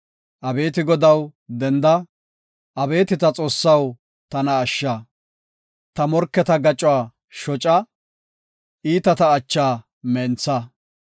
Abeeti Godaw, denda! Abeeti ta Xoossaw tana ashsha! Ta morketa gacuwa shoca; iitata acha mentha.